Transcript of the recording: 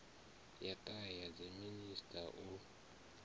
ya ṱahe ya dziminisiṱa u